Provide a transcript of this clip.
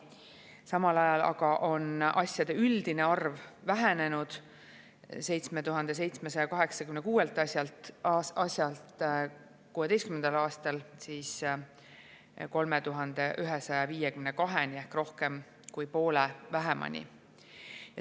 Samal ajal aga on asjade üldine arv vähenenud 7786 asjalt 2016. aastal 3152-ni ehk rohkem kui poole vähemani.